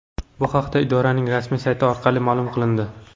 Bu haqda idoraning rasmiy sayti orqali ma’lum qilindi .